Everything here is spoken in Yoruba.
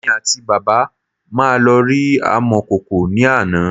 Èmi àti bàbá me lọ rí amọ̀kòkò ní àná